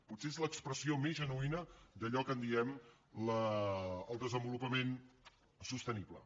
potser és l’expressió més genuïna d’allò que en diem el desenvolupament sostenible